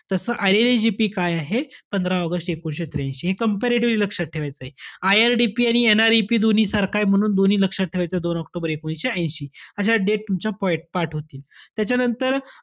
तस IRLAGP काय आहे? पंधरा ऑगस्ट एकोणवीसशे त्र्यांशी. हे comparatively लक्षात ठेवायचय. IRDP आणि NREP दोन्ही सारखाय म्हणून दोन्ही लक्षात ठेवायचं दोन ऑक्टोबर एकोणवीसशे ऐशी. अशा date तुमच्या पाठ होतील. त्याच्यानंतर,